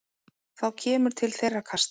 Þá kemur til þeirra kasta.